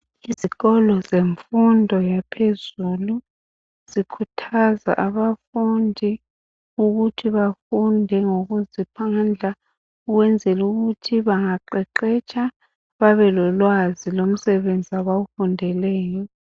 Izikolo zemfundo yaphezulu zikhuthaza abafundi ukuthi bafunde ngokuzikhandla ukwenzelukuthi bangaqeqetsha babelolwazi lomsebenzi abawufundeleyo.